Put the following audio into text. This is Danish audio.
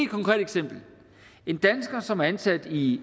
konkret eksempel en dansker som er ansat i